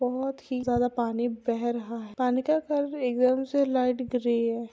बहुत ही ज्यादा पानी बह रहा है पानी का कलर एकदम से लाइट-ग्रे है।